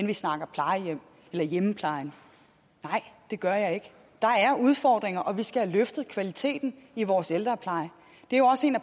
vi snakker plejehjem eller hjemmepleje nej det gør jeg ikke der er udfordringer og vi skal have løftet kvaliteten i vores ældrepleje det er jo også en